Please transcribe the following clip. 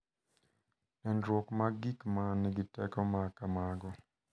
Nenruok mag gik ma nigi teko ma kamago